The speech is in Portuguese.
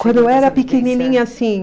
Quando eu era pequenininha, sim.